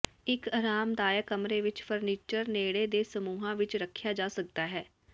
ਇੱਕ ਆਰਾਮਦਾਇਕ ਕਮਰੇ ਵਿੱਚ ਫਰਨੀਚਰ ਨੇੜੇ ਦੇ ਸਮੂਹਾਂ ਵਿੱਚ ਰੱਖਿਆ ਜਾ ਸਕਦਾ ਹੈ